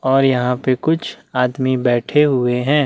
और यहाँ पे कुछ आदमी बैठे हुए हैं।